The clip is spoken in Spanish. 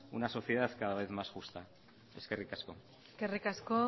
una sociedad cada vez más justa eskerrik asko eskerrik asko